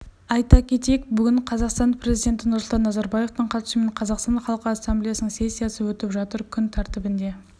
айта кетейік бүгін қазақстан президенті нұрсұлтан назарбаевтың қатысуымен қазақстан халқы ассамблеясының сессиясы өтіп жатыр күн тәртібінде